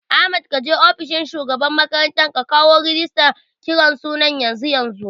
Ahmad kaje ofishin shugaban makaranta ka kawo rigistan kiran suna yanzu yanzu